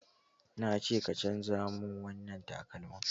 Na ce ka canza mun wannan takalmin!